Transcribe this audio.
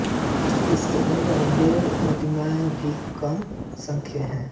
इसके अंदर देव प्रतिमाएँ भी कम संख्या में है